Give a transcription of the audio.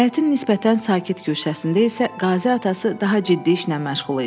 Həyətin nisbətən sakit güşəsində isə Qazi atası daha ciddi işlə məşğul idi.